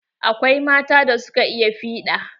Akwai mata da suka iya fiɗa.